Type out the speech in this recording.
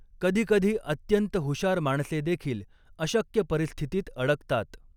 कधीकधी अत्यंत हुशार माणसेदेखील अशक्य परिस्थितीत अडकतात.